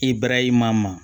I barahima ma